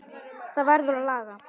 Það verður að laga.